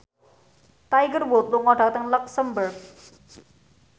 Tiger Wood lunga dhateng luxemburg